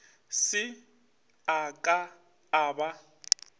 se a ka a ba